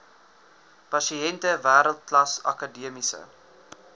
pasiënte wêreldklas akademiese